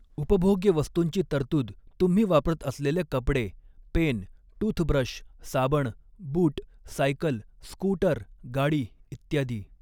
उपभोग्य वस्तूंची तरतूद तुम्ही वापरत असलेले कपडे पेन टूथब्रश साबण बूट सायकल स्कूटर गाडी इत्यादी